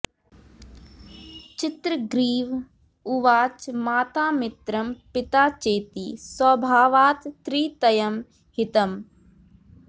चित्रग्रीव उवाच माता मित्रं पिता चेति स्वभावात्त्रितयं हितम्